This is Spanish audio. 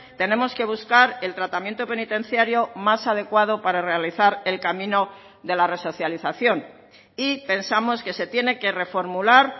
tenemos que buscar el tratamiento penitenciario más adecuado para realizar el camino de la resocialización y pensamos que se tiene que reformular